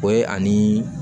O ye ani